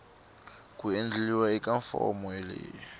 ku endliwa eka fomo leyi